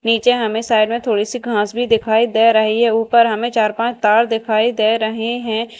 नीचे हमें साइड में थोड़ी सी घास भी दिखाई दे रही है ऊपर हमें चार पांच तार दिखाई दे रही हैं।